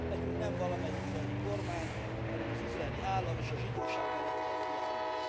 Nekünk nem valamely izraeli kormány, hanem az izraeli állam és a zsidóság mellett kell kiállnunk.